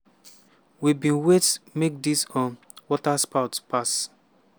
"we bin wait make dis um waterspout pass.